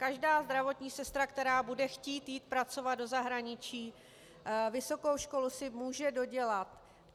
Každá zdravotní sestra, která bude chtít jít pracovat do zahraničí, vysokou školu si může dodělat.